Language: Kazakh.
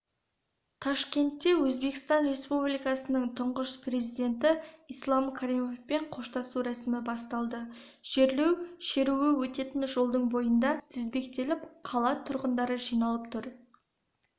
ташкентте өзбекстан республикасының тұңғыш президенті ислам каримовпен қоштасу рәсімі басталды жерлеу шеруі өтетін жолдың бойында тізбектеліп қала тұрғындары жиналып тұр